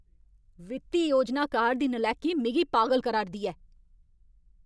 वित्ती योजनाकार दी नलैकी मिगी पागल करा'रदी ऐ ।